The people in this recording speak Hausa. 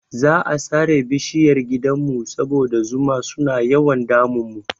Za'a sare bishiyar gidanmu saboda zuma suna yawan damun mu.